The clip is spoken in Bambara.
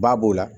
Ba b'o la